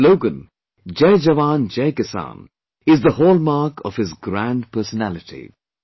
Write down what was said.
His slogan "Jai Jawan, Jai Kisan" is the hall mark of his grand personality